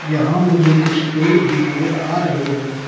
यहां मुझे कुछ पेड़ भी नजर आ रहे हैं।